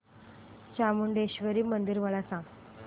चामुंडेश्वरी मंदिर मला सांग